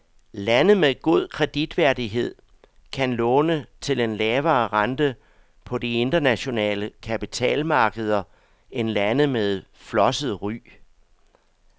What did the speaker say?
Lande med god kreditværdighed kan låne til en lavere rente på de internationale kapitalmarkeder end lande med flosset ry.